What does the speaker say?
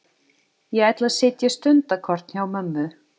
Ég ætla að sitja stundarkorn hjá mömmu.